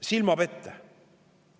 Silmapete!